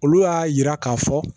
Olu y'a yira k'a fɔ